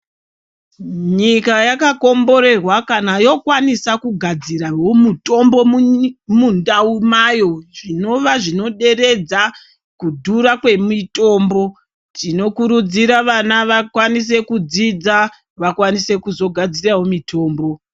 Nyika yakakomborerwa kana yokwanisa kugadzirawo mutombo mundau mayo zvinova zvinoderedza kudhura kwemitombo. Tinokurudzira vana vakwanise kudzidza vakwanise kuzogadzirawo mitombo.